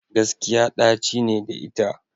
Gaskiya ɗaci ne da ita.